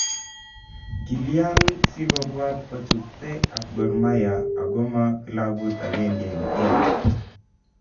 Kilyan sikobwat kochutge ak Gor Mahia, akoma kilabut agenge en kenya?